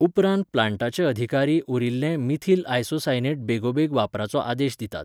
उपरांत प्लांटाचे अधिकारी उरिल्लें मिथिल आयसोसायनेट बेगोबेग वापरपाचो आदेश दितात.